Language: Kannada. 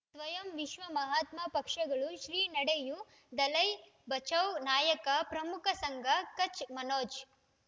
ಸ್ವಯಂ ವಿಶ್ವ ಮಹಾತ್ಮ ಪಕ್ಷಗಳು ಶ್ರೀ ನಡೆಯೂ ದಲೈ ಬಚೌ ನಾಯಕ ಪ್ರಮುಖ ಸಂಘ ಕಚ್ ಮನೋಜ್